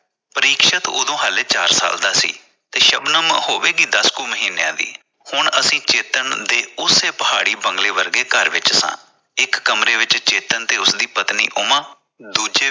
ਪਰੀਕਸ਼ਤ ਉਦੋਂ ਹਾਲੇ ਚਾਰ ਸਾਲ ਦਾ ਸੀ ਤੇ ਸ਼ਬਨਮ ਹੋਵੇਗੀ ਦਸ ਕੁ ਮਹੀਨਿਆਂ ਦੀ । ਹੁਣ ਅਸੀ ਚੇਤਨ ਦੇ ਉਸੇ ਪਹਾੜੀ ਵਰਗੇ ਬੰਗਲੇ ਦੇ ਘਰ ਵਿਚ ਸਾਂ ਇਕ ਕਮਰੇ ਵਿਚ ਚੇਤਨ ਤੇ ਉਸਦੀ ਪਤਨੀ ਉਮਾ ਦੂਜੇ ਵਿਚ